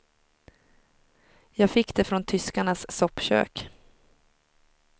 Jag fick det från tyskarnas soppkök.